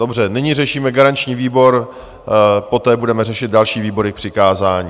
Dobře, nyní řešíme garanční výbor, poté budeme řešit další výbory k přikázání.